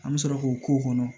An bɛ sɔrɔ k'o k'o kɔnɔ